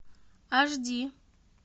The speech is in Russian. аш ди